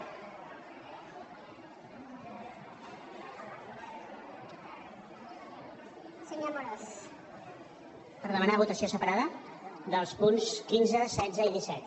per demanar votació separada dels punts quinze setze i disset